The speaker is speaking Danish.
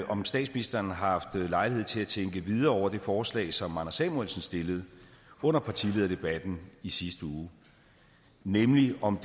om statsministeren har haft lejlighed til at tænke videre over det forslag som anders samuelsen stillede under partilederdebatten i sidste uge nemlig om